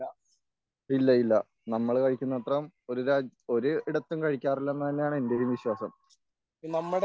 ഇല്ല ഇല്ല നമ്മൾ കഴിക്കുന്ന അത്രേം ഒരു രാജ്യം ഒരു ഒരിടത്തും കഴിക്കാറില്ലെന്നുതന്നെയാണ് എൻ്റെയും വിശ്വാസം